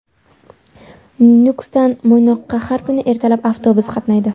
Nukusdan Mo‘ynoqqa har kuni ertalab avtobus qatnaydi.